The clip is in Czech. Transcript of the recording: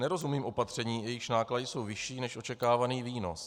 Nerozumím opatřením, jejichž náklady jsou vyšší než očekávaný výnos.